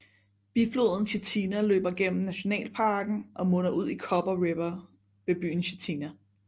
Bifloden Chitina løber gennem nationalparken og munder ud i Copper River ved byen Chitina